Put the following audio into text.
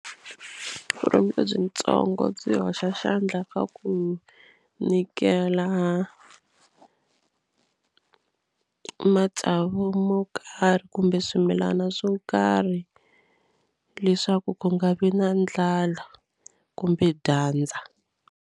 Vurimi lebyitsongo byi hoxa xandla ka ku nyikela matsavu mo karhi kumbe swimilana swo karhi leswaku ku nga vi na ndlala kumbe dyandza.